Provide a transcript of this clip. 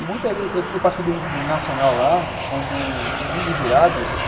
E, muitas vezes, eu participei de um nacional lá, um dos um dos jurados